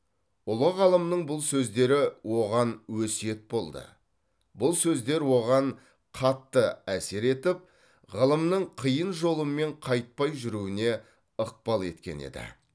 ұлы ғалымның бұл сөздері оған өсиет болды бұл сөздер оған қатты әсер етіп ғылымның қиын жолымен қайтпай жүруіне ықпал еткен еді